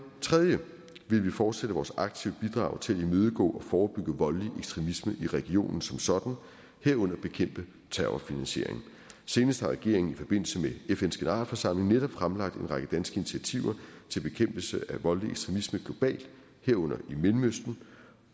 tredje vil vi fortsætte vores aktive bidrag til at imødegå og forebygge voldelig ekstremisme i regionen som sådan herunder bekæmpe terrorfinansiering senest har regeringen i forbindelse med fns generalforsamling netop fremlagt en række danske initiativer til bekæmpelse af voldelig ekstremisme globalt herunder i mellemøsten